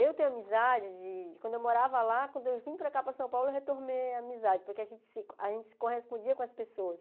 Eu tenho amizade de de quando eu morava lá, quando eu vim para cá, para São Paulo, eu retornei a amizade, porque a gente se a gente se correspondia com as pessoas.